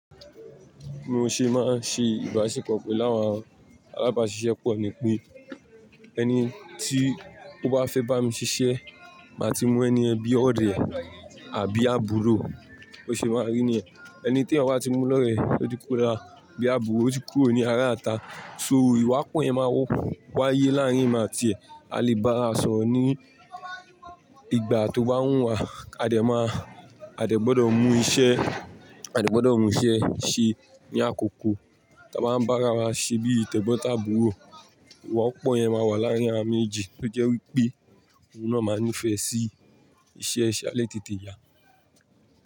Mo ṣe máa ń ṣe ìbáṣepọ̀ pẹ̀lú àwọn alábàáṣiṣẹ́ pọ̀ ni pé ẹni tí ó bá fẹ́ bá mi ṣiṣẹ́, màá ti mọ ẹni ẹ bí ọ̀rẹ́ àbí àbúrò, bó ṣe máa rí ni yẹn. Ẹni tí ẹ̀wọ̀n á ti mú lọ́rẹ, ó ti kura bí àbúrò, ó ti kúrò ní ara ata. So ìwà pọ́ yẹn máa wáyé láàrín ma tìẹ. A lè bá ara sọ̀rọ̀ ní ìgbà tó bá wùn wà, a dẹ̀ máa, a dẹ̀ gbọ́dọ̀ mú iṣẹ́, a dẹ̀ gbọ́dọ̀ mú iṣẹ́ ṣe ní àkókò tí a bá ń bá ara wa ṣe bí tẹ̀gbọ́n tàbúrò. Ìwà pọ́ yẹn máa wà láàrín ara méjì tó jẹ́ wípé òun náà máa nífẹ̀ẹ́ sí iṣẹ́, a lè tètè yà.